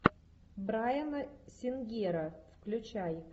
брайана сингера включай